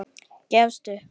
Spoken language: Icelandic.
Gefst upp.